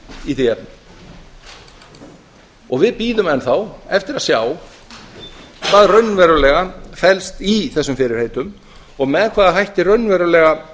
í því efni við bíðum enn þá eftir að sjá hvað raunverulega felst í þessum fyrirheitum og með hvaða hætti raunverulega